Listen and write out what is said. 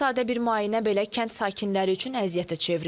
Sadə bir müayinə belə kənd sakinləri üçün əziyyətə çevrilib.